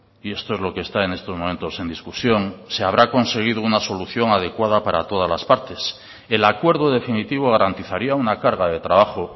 y esto es lo que está en estos momentos en discusión se habrá conseguido una solución adecuada para todas las partes el acuerdo definitivo garantizaría una carga de trabajo